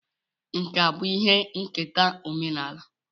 Nkà bụ ihe nketa omenala